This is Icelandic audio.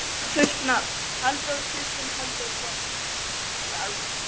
Fullt nafn: Halldór Kristinn Halldórsson.